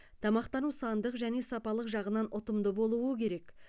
тамақтану сандық және сапалық жағынан ұтымды болуы керек